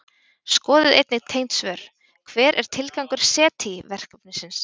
Skoðið einnig tengd svör: Hver er tilgangur SETI-verkefnisins?